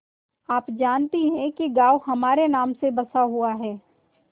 आप जानती हैं कि गॉँव हमारे नाम से बसा हुआ है